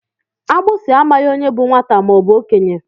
Agbisi amaghị onye bú nwata ma ọ bu okenye.